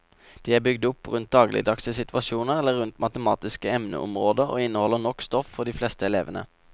De er bygd opp rundt dagligdagse situasjoner eller rundt matematiske emneområder og inneholder nok stoff for de fleste elevene.